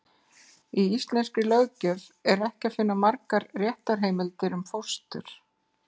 Í íslenskri löggjöf er ekki að finna margar réttarheimildir um fóstur.